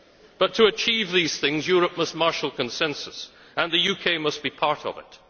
But to achieve these things Europe must marshal consensus, and the UK must be part of